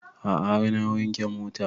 A'a har na wanke mota